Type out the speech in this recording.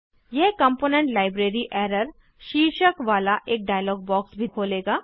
यह component library error शीर्षक वाला एक डायलॉग बॉक्स भी खोलेगा